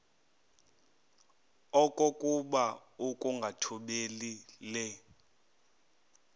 okokuba ukungathobeli le